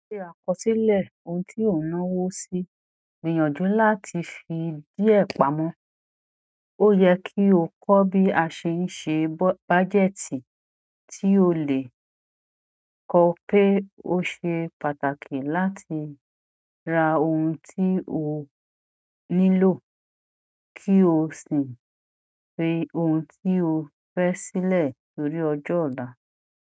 Ṣe àkọsílẹ̀ ohun tí ó ń náwó sí, gbìyànjú láti fi díẹ̀ pamọ́. Ó yẹ kí ó kọ́ bí a ṣe ń ṣe bájẹ́tì tí ó le kọ pé ó ṣe pàtàkì láti ra ohun tí ó nílò kí o sì fi ohun tí o fẹ́ sílẹ̀ torí ọjọ́ ọ̀la.